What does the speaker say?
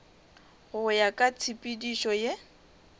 go ya ka tshepedišo ye